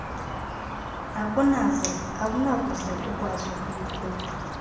akunakuze ukwaqzi ukumkhupha